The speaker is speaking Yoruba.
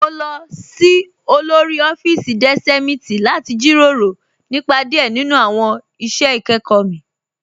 Mo lọ sí òlórí ọ̀fíìsí deṣémitì láti jíró rọ̀ nípa díẹ̀ nínu awọn iṣẹ́ ikẹkọ mi